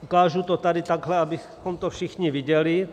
Ukážu to tady tahle , abychom to všichni viděli.